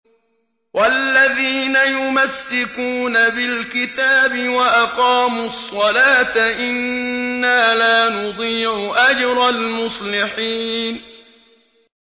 وَالَّذِينَ يُمَسِّكُونَ بِالْكِتَابِ وَأَقَامُوا الصَّلَاةَ إِنَّا لَا نُضِيعُ أَجْرَ الْمُصْلِحِينَ